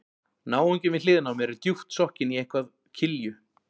Náunginn við hliðina á mér er djúpt sokkinn í eitthvað kilju